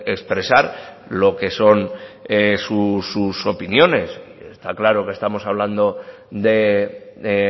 expresar lo que son sus opiniones y está claro que estamos hablando de